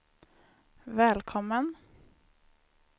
välkommen